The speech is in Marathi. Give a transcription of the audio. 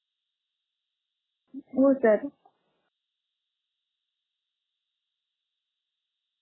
हो sir